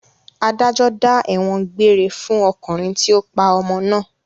Adájọ́ dá ẹ̀wọ̀n gbére fún ọkùnrin tí ó pa ọmọ náà.